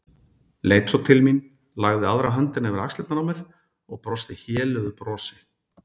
Leit svo til mín, lagði aðra höndina yfir axlirnar á mér og brosti héluðu brosi.